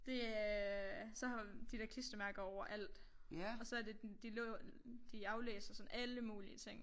Det er så har de der klistermærker overalt og så det de de aflæser sådan alle mulige ting